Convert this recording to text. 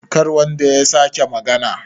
kar wanda ya sake magana!